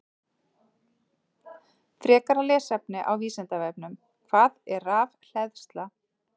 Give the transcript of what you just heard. Frekara lesefni á Vísindavefnum: Hvað er rafhleðsla?